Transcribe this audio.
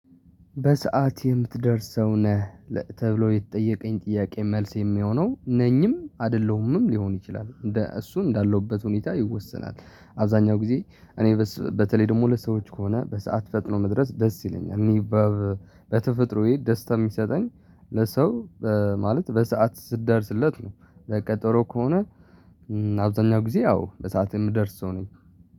በሰአት የምትደርስ ሰው ነህ ተብሎ የተጠየቀኝ ጥያቄ መልስ የሚሆነው ነኝም አይደለሁም ሊሆን ይችላል እንደ እሱ እንዳለሁበት ሁኔታ ይወሰናል። አብዛኛው ጊዜ እኔ በተለይ ደግሞ ለሰዎች ከሆነ በሰአት ፈጥኖ መድረስ ደስ ይለኛል። እኔ በተፈጥሮዬ ደስታ ሚሰጠኝ ለሰው ማለት በሰአት ስደርስለት ነው። ለቀጠሮ ከሆነ አብዛኛው ጊዜ አዎ በሰአት የምደርስ ሰው ነኝ።